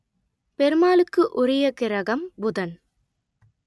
பெருமாளுக்கு உரிய கிரகம் புதன்